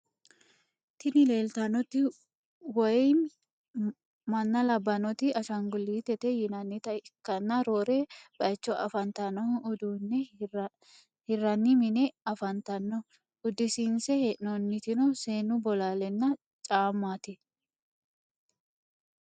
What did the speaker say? Tini lelitanoti woyim manna labanoti ashshanigulitete yinanita ikana rorre bayicho afanitanohu udune hirrani mine afanitano udussinse henonittino senu bolalena caamati.